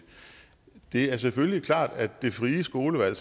det er selvfølgelig klart at det frie skolevalg